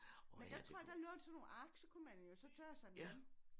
Men jeg tror der lå sådan nogle ark så kunne man jo så tørre sig med dem